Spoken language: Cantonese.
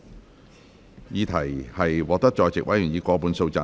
我認為議題獲得在席議員以過半數贊成。